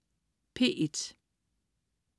P1: